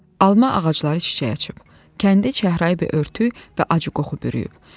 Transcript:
Alma ağacları çiçək açıb, kəndi çəhrayı bir örtük və acı qoxu bürüyüb.